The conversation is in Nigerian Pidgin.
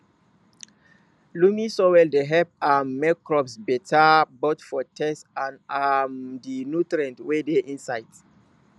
loamy soil dey help um make crops beta both for taste and um di nutrients wey dey inside